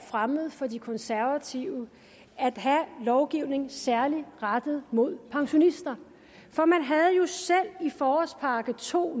fremmed for de konservative at have lovgivning særlig rettet mod pensionister for man havde jo selv i forårspakke to